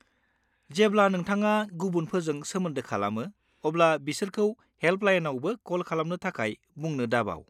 जेब्ला नोंथाङा गुबुनफोरजों सोमोन्दो खालामो, अब्ला बिसोरखौ हेल्पलाइनावबो कल खालामनो थाखाय बुंनो दाबाव।